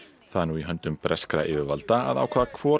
það er nú í höndum breskra yfirvalda að ákveða hvor